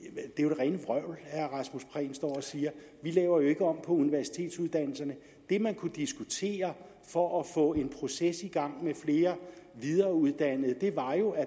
rene står og siger vi laver ikke om på universitetsuddannelserne det man kunne diskutere for at få en proces i gang med flere videreuddannede var jo at